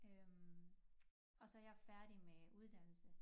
Øh og så jeg færdig med uddannelse